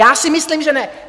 Já si myslím, že ne!